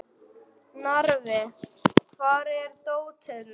Narfi, hvar er dótið mitt?